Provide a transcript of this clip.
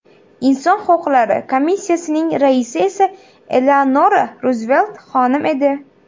Inson huquqlari komissiyasining raisi esa Eleanora Ruzvelt xonim edi.